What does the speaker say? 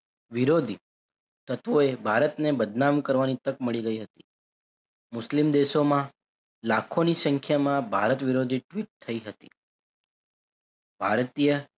વિરોધી તત્વોએ ભારતને બદનામ કરવાની તક મળી ગઈ હતી મુસ્લિમ દેશોમાં લાખોની સંખ્યામાં ભારત વિરોધી tweet થઇ હતી ભારતીય,